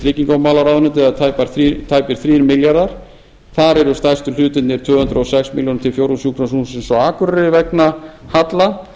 tryggingamálaráðuneyti eða tæpir þrír milljarðar þar eru stærstu hlutirnir tvö hundruð og sex milljónir til fjórðungssjúkrahússins á akureyri vegna halla